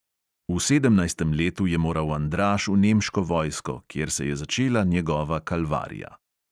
V sedemnajstem letu je moral andraž v nemško vojsko, kjer se je začela njegova kalvarija.